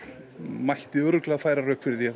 mætti örugglega færa rök fyrir því að